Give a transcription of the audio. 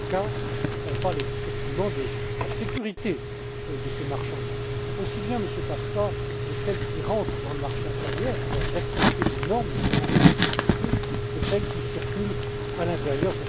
Paška on parle effectivement de la sécurité de ces marchandises, aussi bien, Monsieur Paška, de celles qui rentrent dans le marché intérieur et qui doivent respecter des normes, notamment en matière de sécurité, que de celles qui circulent à l'intérieur.